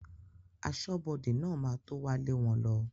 Aṣọ́bọdè náà ma tó wá lé wọn lọ